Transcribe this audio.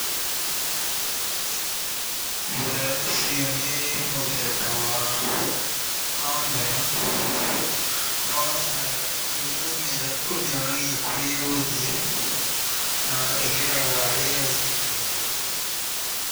Ũcio nĩ mũthemba wa kamera, no na nayo nĩwe ũmĩonagia kũrĩa ĩgũthiĩ na ĩgeraga rĩera-inĩ igũrũ.